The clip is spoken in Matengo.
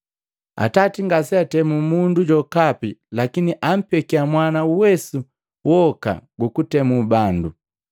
Atati ngaseantemu mundu jokapi lakini ampeki Mwana uwesu woka gukutemu bandu,